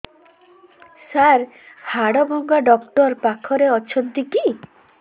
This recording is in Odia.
ସାର ହାଡଭଙ୍ଗା ଡକ୍ଟର ପାଖରେ ଅଛନ୍ତି କି